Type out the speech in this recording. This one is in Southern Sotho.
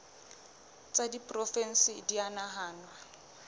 tsa diporofensi di a nahanwa